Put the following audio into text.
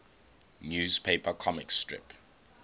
newspaper comic strip